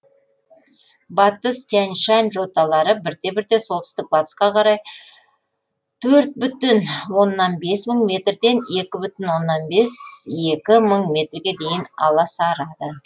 батыс тянь шань жоталары бірте бірте солтүстік батысқа қарай төрт бүтін оннан бес мың метрден екі бүтін оннан бес екі мың метрге дейін аласарады